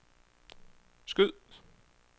skyd